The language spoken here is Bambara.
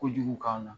Kojugu k'an na